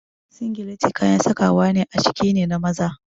Singileti kayan sakawa a ciki ne na maza.